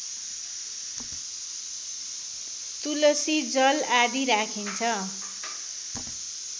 तुलसी जल आदि राखिन्छ